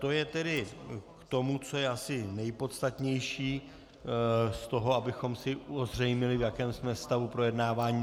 To je tedy k tomu, co je asi nejpodstatnější z toho, abychom si ozřejmili, v jakém jsme stavu projednávání.